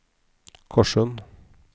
Korssund